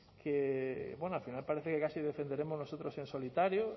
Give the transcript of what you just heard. que al final parece que casi defenderemos nosotros en solitario